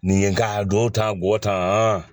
Nin ye k'a don tan bɔ tan